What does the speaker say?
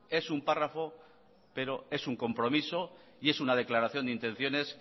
es un párrafo pero es un compromiso y es una declaración de intenciones